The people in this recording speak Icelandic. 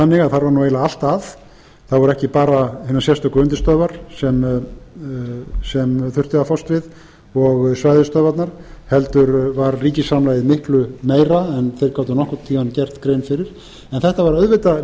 þannig að þar var nú eiginlega allt að það voru ekki bara hinar sérstöku undirstöðvar sem þurfti að fást við og svæðisstöðvarnar heldur var ríkisframlagið miklu meira en þeir gátu nokkurn tíma gert grein fyrir en þetta var auðvitað